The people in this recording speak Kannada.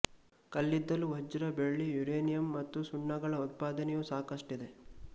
ಕಲ್ಲಿದ್ದಲು ವಜ್ರ ಬೆಳ್ಳಿ ಯುರೇನಿಯಂ ಮತ್ತು ಸುಣ್ಣಗಳ ಉತ್ಪಾದನೆಯೂ ಸಾಕಷ್ಟಿದೆ